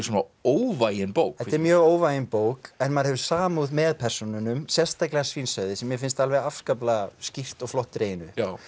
óvægin bók þetta er mjög óvægin bók en maður hefur samúð með persónunum sérstaklega svínshöfði sem mér finnst alveg afskaplega skýrt og flott dreginn upp